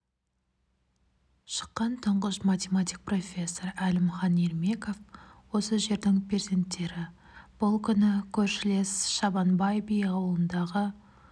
шыққан тұңғыш математик профессор әлімхан ермеков осы жердің перзенттері бұл күні көршілес шабанбай би ауылындағы